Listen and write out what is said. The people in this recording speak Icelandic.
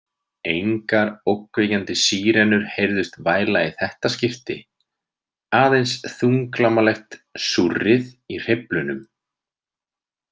Engar ógnvekjandi sírenur heyrðust væla í þetta skipti, aðeins þunglamalegt súrrið í hreyflunum.